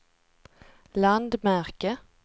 landmärke